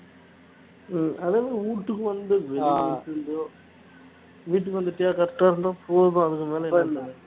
உம் அதுவுமே வீட்டுக்கு வந்து வெளில எப்படியோ வீட்டுக்கு வந்துட்டியா correct ஆ இருந்தா போதும் அதுக்குமேல என்ன